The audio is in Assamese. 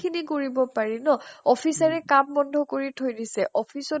খিনি কৰিব পাৰি ন। officer ৰে কাম বন্ধ কৰি থৈ দিছে, office ত